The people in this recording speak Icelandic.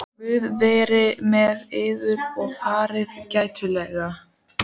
Guð veri með yður og farið gætilega.